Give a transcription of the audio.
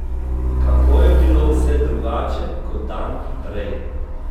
Kako je bilo vse drugače kot dan prej!